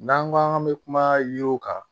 N'an ko k'an bɛ kuma yiriw kan